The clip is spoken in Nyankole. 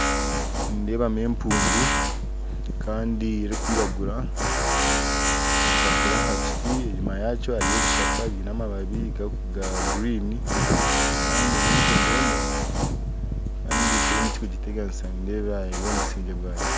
Nindeebamu empundu kandi erikwiragura ekwatsire aha kiti enyuma yakyo hariyo ebishaka biine amababi ga guriini kandi n'empundu emwe kandi teine ekikugiteganisa nindeeba eri omu businge bwayo